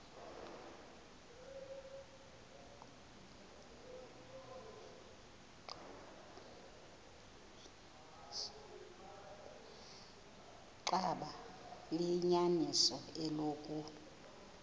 xaba liyinyaniso eloku